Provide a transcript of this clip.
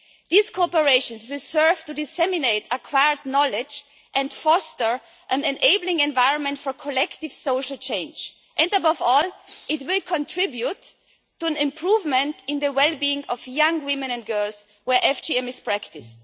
This cooperation will serve to disseminate acquired knowledge and foster an enabling environment for collective social change and, above all, it will contribute to an improvement in the well-being of young women and girls where FGM is practised.